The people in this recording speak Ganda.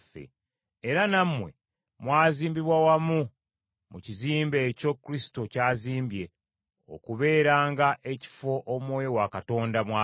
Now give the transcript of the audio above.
Era nammwe mwazimbibwa wamu mu kizimbe ekyo Kristo ky’azimbye okubeeranga ekifo Omwoyo wa Katonda mwabeera.